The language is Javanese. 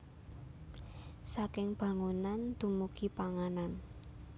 Saking bangunan dumugi panganan